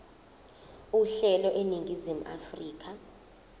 uhlelo eningizimu afrika